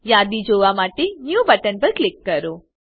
યાદી જોવા માટે ન્યૂ બટન પર ક્લિક કરો